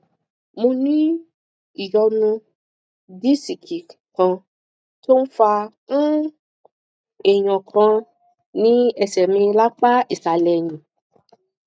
mo ní ìyọnu disiki kan tó ń fa um èèyàn kan ní ẹsẹ mi lápá ìsàlẹ ẹyìn